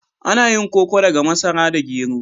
Ana yin koko daga masara da gero.